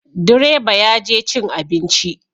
Direba ya je cin abinci